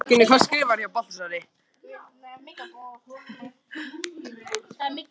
Áformin mælast misvel fyrir.